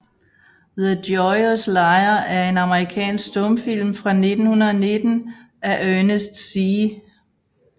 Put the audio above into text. The Joyous Liar er en amerikansk stumfilm fra 1919 af Ernest C